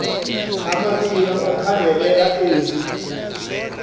amabini okhangelela eli